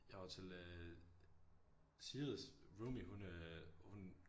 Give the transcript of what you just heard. Jeg var til øh Sigrids roomie hun øh hun